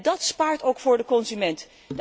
Dat bespaart ook voor de consument.